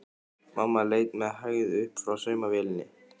Mamma leit með hægð upp frá saumavélinni.